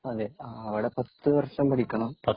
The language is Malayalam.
അതേ. അവിടെ പത്ത് വര്‍ഷം പഠിക്കണം.